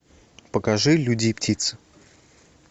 покажи люди и птицы